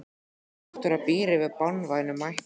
En þessi náttúra býr yfir banvænum mætti.